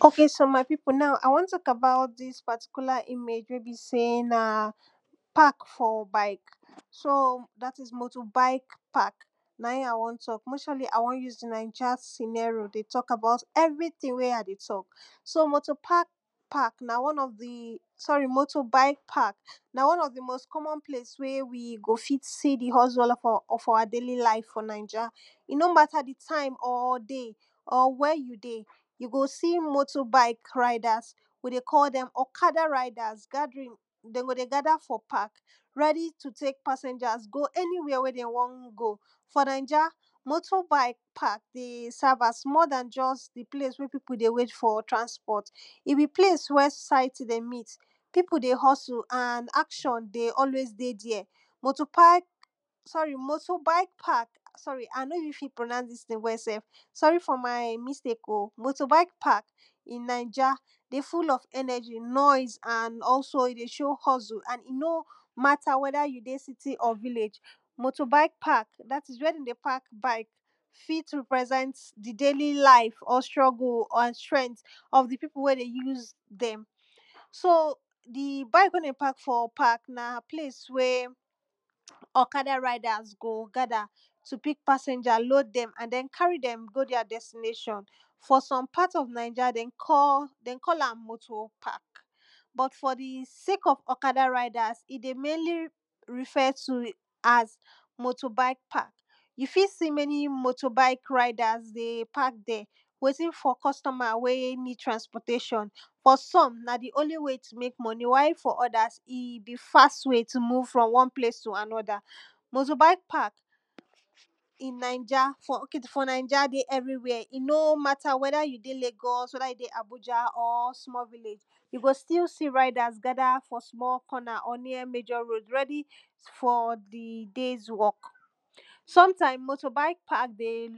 Ohk so my people now, ah wan tok about dis particular image wey be sey na park for bike, soo, dat is, motor bike park, na im ah wan tok, majorly ah wan use de naija scenario dey tok about everytin wey ah dey tok. So motor park park, na one of de, sorry, motor bike park na one of de most common place wey we go fit see dey hustle of our, of our daily lives for naija. E no matter de time or day or wia you dey, you go see motor bike riders. We dey call dem okada riders gathering, den go dey gada for park, ready to take passengers go anywia den wan go. For naija, motor bike park dey serve as more dan just de place wey people dey wait for transport. If de place wey site dey meet, people dey hustle and action de always dey dia. Motor park, sorry, moso bike park, sorry ah no even fit pronounce dis name well sef, sorry for my mistake.o motor bike park in naija dey full of energy, noise and also e dey show hustle and e no matter weda you dey city or village. Motor bike park, dat is, wey dem dey park bike fit represent de daily life or struggle and strength of de people wey dey use dem. So oh de bike wey dem park for park na place wey okada riders go gada to pick passenger, load dem and den carry dem go dia destination. For some part of naija den call, den call am motor park but for de sake of okada riders e de mainly refer to as motor bike park. You fit see many motor bike riders dey park der waiting for customer wey need transportation for some na dey only way to make money while for odas e be fast way to move from one place to anoda. Motor bike park in naija, for, ok for naija, dey everywhere, e no matter weda you dey Lagos, weda you dey Abuja or small village, you go still see riders gada for small corner or near major road ready for de days work. Sometime motor bike park dey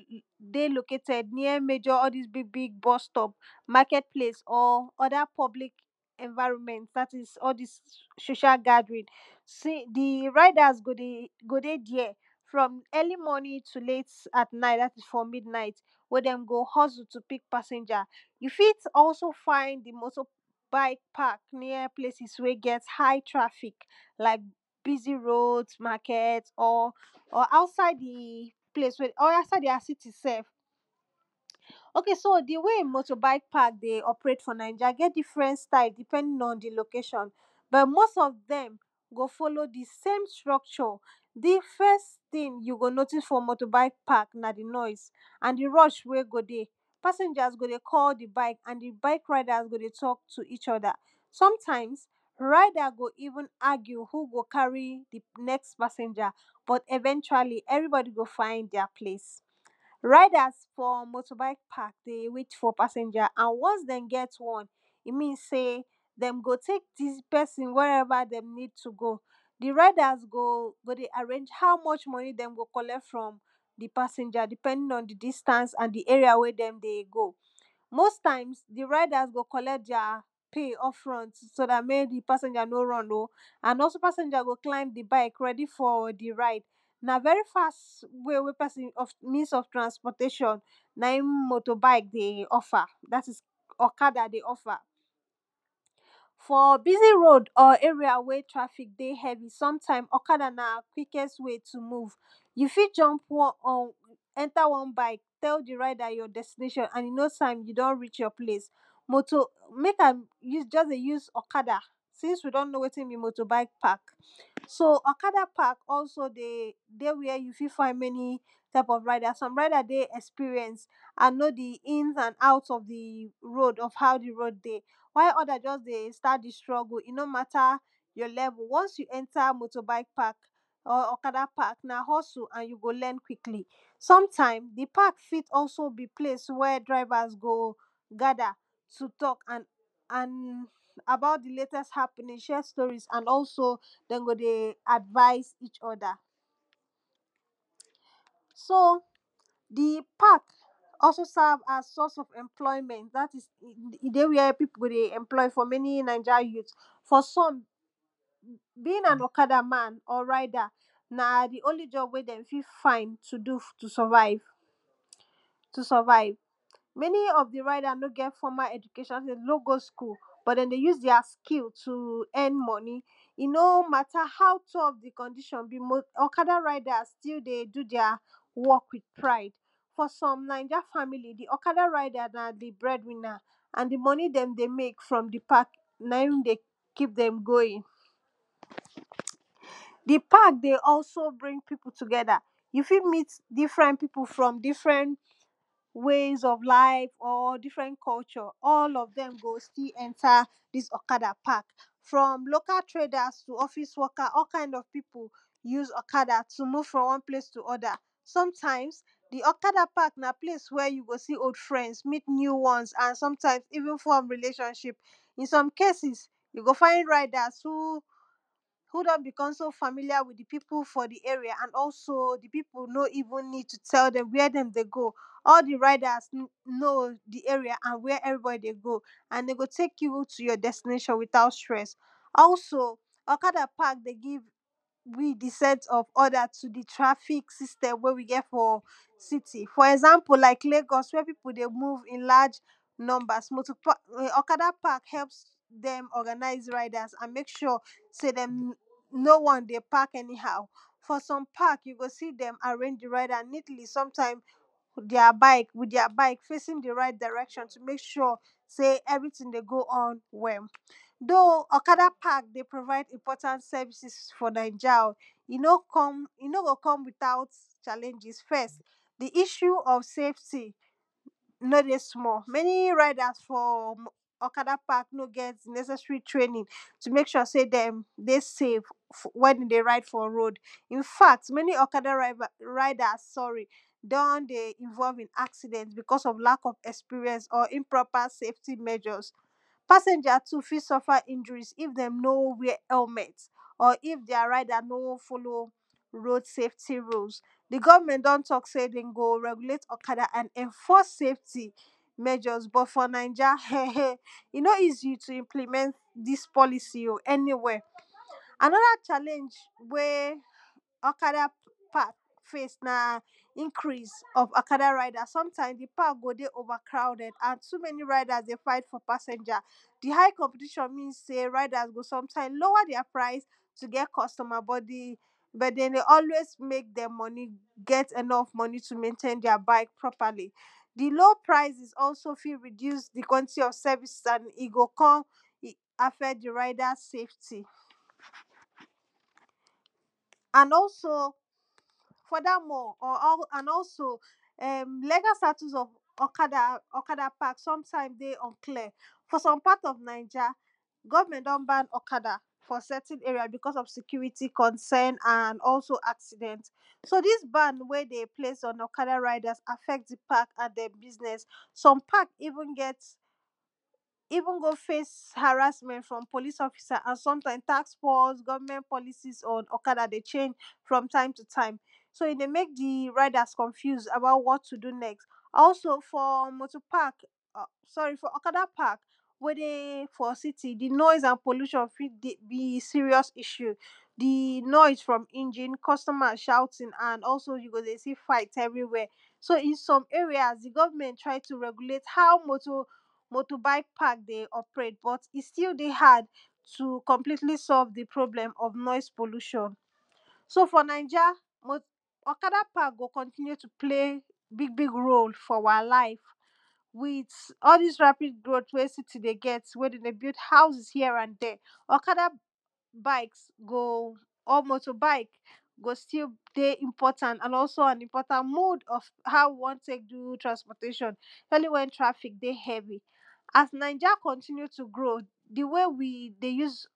dey located near major, all dis big big bus stop, market place or oda public environment dat is, all dis social gathering. See, de riders, go de, go dey dia from early morning to late at night dat is for midnight, wey dem go hustle to pick passenger. You fit also find dey motor bike park near places wey get high traffic like busy roads, market or, or outside de place wey, or outside dia city sef. Ohk soo dey way motor bike park dey operate for naija e get different style depending on de location but most of dem go follow dey same structure. De first tin you go notice for motor bike park na dey noise and dey rush wey go dey. Passengers go dey call de bike and de rider go dey tok to each oda. Sometimes rider go even argue who go carry de next passenger but eventually everybody go find dia place. Riders for motor bike park dey wait for passenger and once dem get one, e means sey dem go take dis pesin wherever dem need to go. De riders go dey arrange how much moni dem go collect from de passenger depending on de distance and de area wey dem dey go. Most times, de riders go collect dia pay off front so dat make de passenger no run.o and also passenger go climb de bike ready for dey ride. Na very fast way wey pesin, means of transportation na e motor bike dey offer, dat is, okada dey offer. For busy road or area wey traffic dey heavy, sometime okada na quickest way to move. You fit jump or enter one bike tell de rider your destination and in nos time you don reach your place. Motor, make ah use, just de use okada since we don know wetin be motor bike park. Soo okada park also dey dey wia you fit find many type of rider, some rider dey experience and know de ins and out of de road of how de road dey. While odas just dey start dey struggle, e no matter your level, once you enter motor bike park or okada park na hustle and you go learn quickly. Sometime, de park fit also be place wia drivers go gada to tok and, and, about de latest happening, share stories and also den go dey advise each oda. Soo, de park also serve as source of employment dat is, e dey wia people de employ for many naija youths. For some, being an okada man or rider na de only job wey dem fit find to do to survive, to survive. Many of de rider no get formal education, den no go school but den dey use dia skill to end moni, e no matter how tough de condition be, okada rider still dey do dia job wit pride. For some naija family, de okada rider na de bread winner and de moni dem de make from de park na im dey keep dem going. De park dey always bring people togeda. You fit meet different people from different ways of life or different culture, all of dem go still enter dis okada park. From local traders to office worker, all kind of people, use okada to move from one place to oda. Sometimes, de okada park na place wey you go fit see old friends, meet new ones and sometimes even form relationship. In some cases, you go find riders who don become so familiar wit de people for de area, and also de people no even need to tell dem wia dem dey go, all de riders know de area and wia everybody dey go and dey go take you to your destination witout stress. Also, okada park dey give we de set of order to de traffic system wey we get for city; for example, like Lagos, wey people dey move in large numbers, motor park, okada park helps dem organise riders and make sure sey dem, no one dey park any how. For some park, you go see dem dey arrange de rider neatly and sometime wit dia bike wit dia bike facing de right direction to make sure sey everytin dey go on well. Though.o okada park dey provide important services for naija.o e no come, e no go come witout challenges; first, de issue of safety no dey small, many riders for okada park no get de necessary training to make sure sey dem dey safe wen dem dey ride for road. In fact, many okada rivas, riders sorry, don dey involve in accident because of lack of experience or improper safety measures. Passengers too fit suffer injuries if dem no wear helmet or if dia rider no follow road safety rules. De government don tok say den go regulate okada and enforce safety measures but for naija, eh! eh,! e no easy to implement dis policy.o anywhere. Anoda challenge wey okada park face na increase of okada rider. Sometime de park go dey overcrowded and too many rider dey fight for passenger. De high competition mean sey riders go sometime lower dia price to get customer but de but dem dey always make dia moni, get enough moni to maintain dia bike properly. De low prices also fit reduce de quantity of services and e go kon affect de rider’s safety. And also, furthermore, or all and also, [eerm] legal status of okada okada park sometime dey unclear. For some part of naija, government don ban okada for certain area because of security concern and also accident. So dis ban wey dem place on okada riders affect de park and de business. Some park even get even go face harassment from police officer and sometime tax force, government policies on okada dey change from time to time. So e dey make de riders confuse about what to do next. Also, for motor park, uh sorry, for okada park, wey dey for city, de noise and pollution fit be serious issue. De noise from engine, customer shouting and also you go dey see fight everywhere. So in some areas, de government try to regulate how motor, motor bike park dey operate but e still dey hard to completely solve de problem of noise pollution. So for naija, okada park go continue to play big big role for our live wit all dis rapid growth wey city dey get where dem dey build houses here and der. Okada bikes go, or motor bike go still dey important and also on important mode on how we wan take do transportation only when traffic dey heavy. As naija continue to grow, dey way we dey use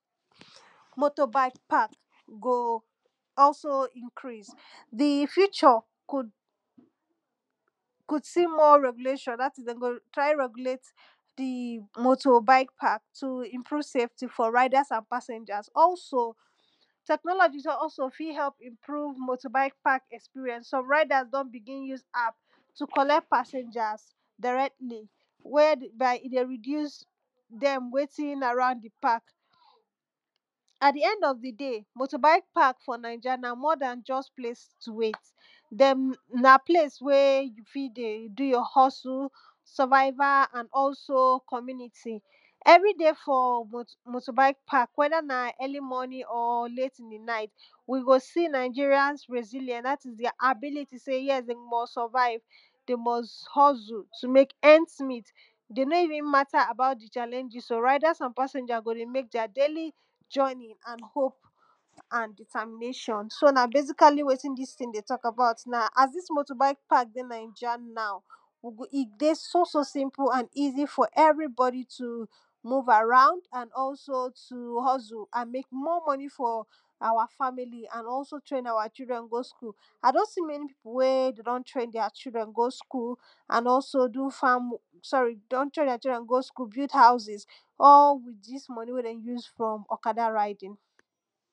motor bike park go also increase. De future could, could see more regulation, dat is, den go try regulate de motor bike park to improve safety for riders and passengers. Also, technology also fit improve motor bike park experience. Some riders don begin use app to collect passengers directly whereby e dey reduce dem waiting around de park. At de end of de day, motor bike park for naija na more dan just place to wait. Dem, na place wey you fit dey do your hustle, survival and also community. Everyday for motor motor bike park weda na early morning or late in de night we go see Nigerians resilient dat is, de ability sey yes! dey must survive, dey must hustle to make earns meet. Dey no even matter about de challenges.o rather some passenger go dey make dia daily journey and hope and determination. So na basically wetin dis tin dey tok about now. As dis motor bike park dey naija now, we go, e dey so so simple and easy for everybody to move around and also to hustle and make more money for our family and also train our children go school. Ah don see many people wey dey don train dia children go school and also do farm sorry, dey don train dia children go school, build houses all wit dis moni wey dem use from okada riding.